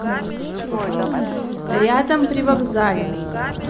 рядом привокзальный